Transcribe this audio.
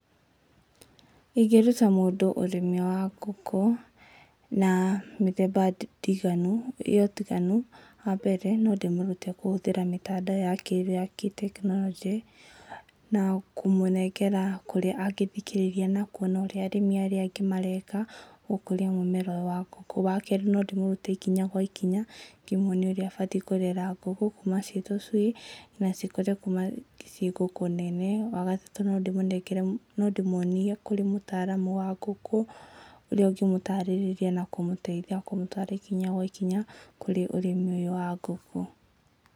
Ĩngĩruta mũndũ ũrĩmi wa ngũkũ, na mĩthemba ndiganu, ya ũtiganu. Wa mbere, no ndĩmũrute kũhũthĩra mĩtandao ya kĩrĩu ya tekinoronjĩ, na kũmũnengera kũrĩa angĩthikĩrĩria na kuona ũrĩa arĩmi arĩa angĩ mareka, gũkũrĩa mũmera ũyũ wa ngũkũ. Wa kerĩ no ndĩmũrute ikinya gwa ikinya ngĩkĩmũonia ũrĩa ekũrera ngũkũ kuma ciĩ tũcui, na cikũre kuma ciĩ ngũkũ nene. Wa gatatũ no ndĩmũnengere, no ndĩmuonie kũrĩ mũtaaramu wa ngũkũ, ũrĩa ũngĩmũtarĩrĩria na kũmũteithia kũmũtaara ikinya gwa ikinya kũrĩ ũrĩmi ũyũ wa ngũkũ.